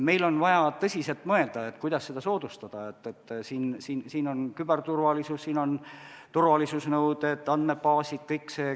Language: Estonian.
Meil on vaja tõsiselt mõelda, kuidas seda soodustada, siin on oluline küberturvalisus, turvalisuse nõuded, andmebaasid.